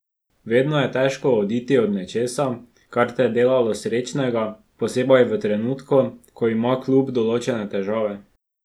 Vedno je težko oditi od nečesa, kar te je delalo srečnega, posebej v trenutku, ko ima klub določene težave.